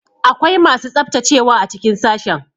Akwai masu tsaftacewa a cikin sashen.